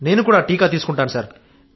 నేను కూడా టీకా తీసుకుంటాను సార్